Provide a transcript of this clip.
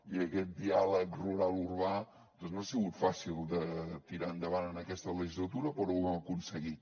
i aquest diàleg rural urbà doncs no ha sigut fàcil de tirar endavant en aquesta legislatura però ho hem aconseguit